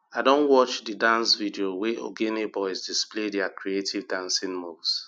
i don watch di dance video wey ogene boys display their creative dancing moves